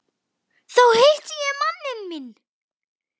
Þá hitti ég manninn minn.